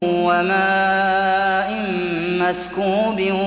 وَمَاءٍ مَّسْكُوبٍ